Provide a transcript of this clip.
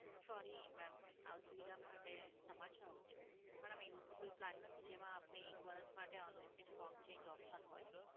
Sorry mam, અસુવિધા માટે ક્ષમા ચાહું છું. પણ આમાં એવું તો કોઈ plan નથી જેમાં આપને એક વર્ષ માટે unlimited song change option હોય.